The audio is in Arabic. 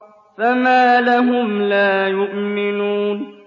فَمَا لَهُمْ لَا يُؤْمِنُونَ